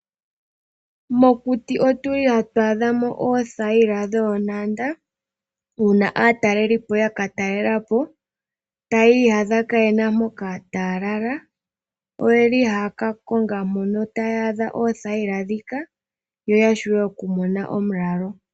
Mokuti otuli hatu adhamo oothayila dhoonanda uuna aatalelipo yaka talelapo taa iyadha kayena mpoka taya lala, oyeli haya kakonga mpoka taya adha oothayila dhika yo yashuwe okumona omulalo.